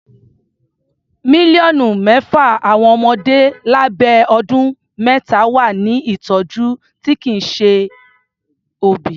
Mílíọ̀nù mẹ́fà àwọn ọmọdé lábẹ́ ọdún mẹ́ta wà ní ìtọjú tí kìí ṣe òbí.